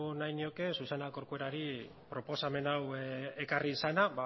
nahi nioke susana corcuerari proposamen hau ekarri izana